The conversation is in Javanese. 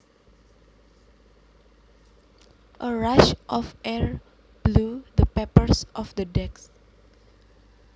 A rush of air blew the papers off the desk